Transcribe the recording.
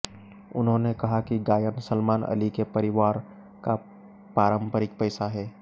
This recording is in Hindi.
उन्होंने कहा कि गायन सलमान अली के परिवार का पारंपरिक पेशा है